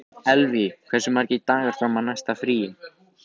Elvý, hversu margir dagar fram að næsta fríi?